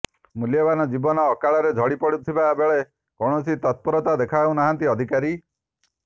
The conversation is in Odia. ମୂଲ୍ୟବାନ ଜୀବନ ଅକାଳରେ ଝଡିପଡୁଥିବା ବେଳେ କୌଣସି ତତ୍ପରତା ଦେଖାଉନାହାନ୍ତି ଅଧିକାରୀ